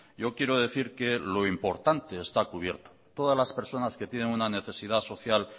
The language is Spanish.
yo quiero decir que lo importante está cubierto todas las personas que tienen una necesidad social